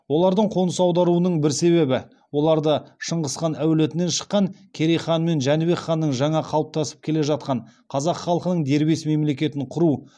олардың қоныс аударуының бір себебі оларды шыңғыс әулетінен шыққан керей хан мен жәнібек ханның жаңа қалыптасып келе жатқан қазақ халқының дербес мемлекетін құру